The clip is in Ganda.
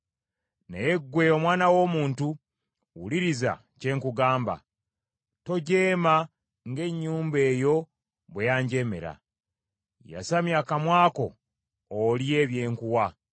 Naye ggwe omwana w’omuntu wuliriza kye nkugamba. Tojeema ng’ennyumba eyo bwe yanjeemera. Yasamya akamwa ko olye bye nkuwa.”